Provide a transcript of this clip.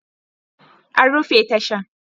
An rufe tashan